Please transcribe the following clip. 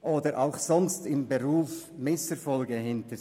oder sonst im Beruf Misserfolge erlebt.